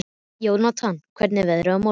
Jónatan, hvernig er veðrið á morgun?